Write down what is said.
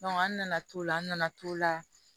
an nana to la an nana t'o la